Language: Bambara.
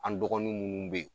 An dɔgɔnin munnu be ye